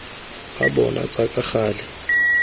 tsa bona tsa ka gale